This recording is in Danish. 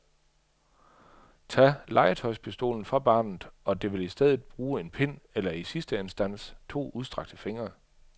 Tag legetøjspistolen fra barnet og det vil i stedet bruge en pind eller i sidste instans to udstrakte fingre.